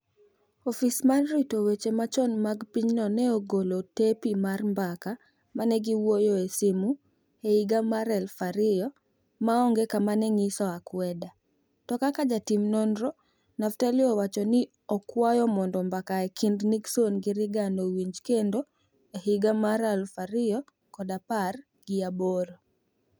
Ofis mar rito weche machon mag pinyno ne ogolo tepi mar mbaka ma ne giwuoyoe e simu e higa mar aluf ariyo ma onge kama ma ne nyiso akwede, to kaka jatim nonro Naftali owacho ne okwayo mondo mbaka e kind Nixon gi Reagan owinj kendo e higa mar aluf ariyo kod apar gi aboro.